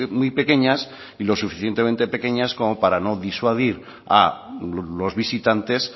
muy pequeñas y lo suficientemente pequeñas como para no disuadir a los visitantes